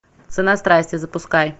цена страсти запускай